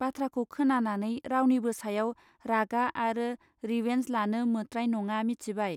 बाथ्राखौ खोनानानै रावनिबो सायाव रागा आरो रिवेंज लानो मोत्राय नङा मिथिबाय.